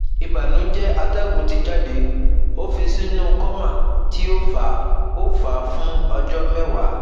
Ibanujẹ atẹgun ti jade, o fi sinu coma ti o fa o fa fun ọjọ mẹwa